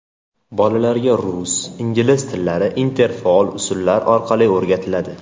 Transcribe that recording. Bolalarga rus, ingliz tillari interfaol usullar orqali o‘rgatiladi.